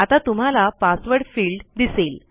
आता तुम्हाला password field दिसेल